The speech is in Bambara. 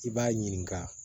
I b'a ɲininka